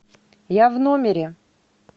я в номере